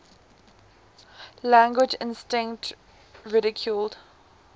language instinct ridiculed